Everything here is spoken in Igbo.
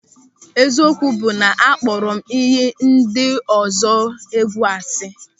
Eziokwu bụ na akpọrọ m inyi ndị ọzọ egwu asị.